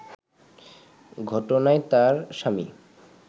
ঘটনায় তার স্বামী